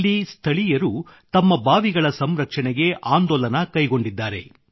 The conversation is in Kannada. ಇಲ್ಲಿ ಸ್ಥಳೀಯರು ತಮ್ಮ ಬಾವಿಗಳ ಸಂರಕ್ಷಣೆಗೆ ಆಂದೋಲನ ಕೈಗೊಂಡಿದ್ದಾರೆ